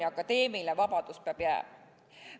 Ja akadeemiline vabadus peab jääma.